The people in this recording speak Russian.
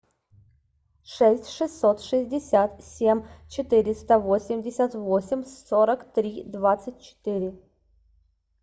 шесть шестьсот шестьдесят семь четыреста восемьдесят восемь сорок три двадцать четыре